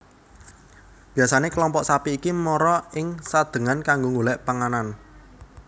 Biyasane kelompok sapi iki mara ing Sadengan kanggo golek panganan